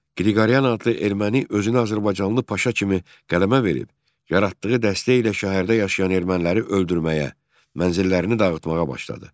Qriqoryan adlı erməni özünü azərbaycanlı Paşa kimi qələmə verib, yaratdığı dəstə ilə şəhərdə yaşayan erməniləri öldürməyə, mənzillərini dağıtmağa başladı.